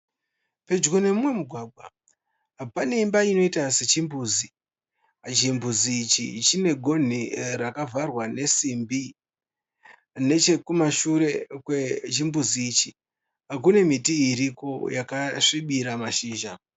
Pedyo nemumwe mugwagwa pane imba inoita sechimbuzi. Chimbuzi ichi chigonhi rakavharwa nemasimbi. Nechekumashure kwechimbuzi ichi kune miti iriko yakasvibira mashizha.